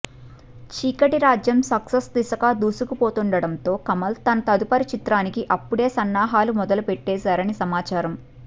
Cheekati Rajyam success దిశగా దూసుకుపోతుండటంతో కమల్ తన తదుపరి చిత్రానికి అప్పుడే సన్నాహాలు మొదలుపెట్టేశారని సమాచారం